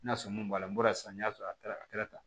N'a sɔrɔ mun bɔra n bɔra sisan n'i y'a sɔrɔ a kɛra a kɛra tan